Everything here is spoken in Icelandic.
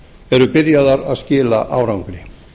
eru byrjaðar að skila árangri